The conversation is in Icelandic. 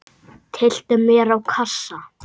Tyllti mér á kassa.